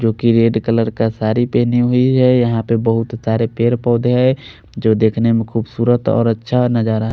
जो की red colour का साड़ी टंगी हुई है यहाँ पर बोहोत सारे पेड़ पोधे है जो देखने में खुबसूरत और अच्छा नज़रा है।